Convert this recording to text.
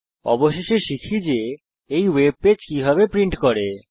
অবশেষে শিখি যে এই ওয়েব পেজ কিভাবে প্রিন্ট করি